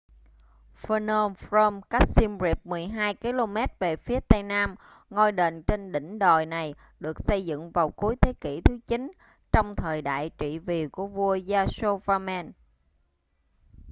phnom krom cách xiêm riệp 12km về phía tây nam ngôi đền trên đỉnh đồi này được xây dựng vào cuối thế kỷ thứ 9 trong thời đại trị vì của vua yasovarman